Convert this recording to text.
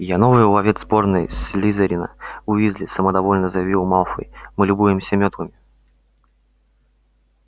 я новый ловец сборной слизерина уизли самодовольно заявил малфой мы любуемся мётлами